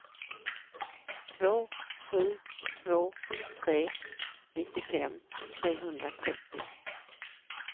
två sju två tre nittiofem trehundratrettio